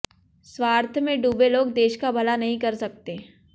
स्वार्थ में डूबे लोग देश का भला नहीं कर सकते